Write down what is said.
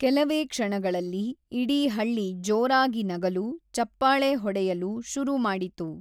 ಕೆಲವೇ ಕ್ಷಣಗಳಲ್ಲಿ ಇಡೀ ಹಳ್ಳಿ ಜೋರಾಗಿ ನಗಲು, ಚಪ್ಪಾಳೆ ಹೊಡೆಯಲು ಶುರು ಮಾಡಿತು.